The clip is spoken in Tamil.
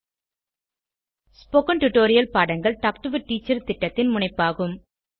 ஸ்போகன் டுடோரியல் பாடங்கள் டாக் டு எ டீச்சர் திட்டத்தின் முனைப்பாகும்